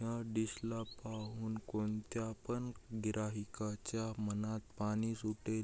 ह्या डिश ला पाहून कोणत्या पण गिराहीकाच्या मनात पाणी सुटेल.